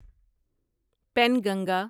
Penganga